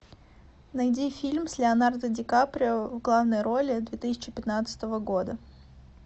найди фильм с леонардо ди каприо в главной роли две тысячи пятнадцатого года